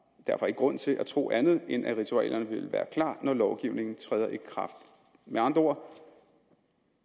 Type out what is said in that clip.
derfor ikke grund til at tro andet end at ritualerne vil være klar når lovgivningen træder i kraft med andre ord